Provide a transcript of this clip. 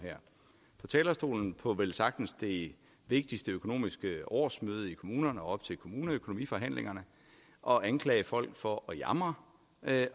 på talerstolen på velsagtens det vigtigste økonomiske årsmøde i kommunerne op til kommuneøkonomiforhandlingerne og anklage folk for at jamre